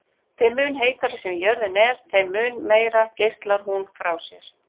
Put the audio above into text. Þeim mun heitari sem jörðin er þeim mun meira geislar hún frá sér.